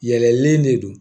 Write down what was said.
Yɛlɛlen de don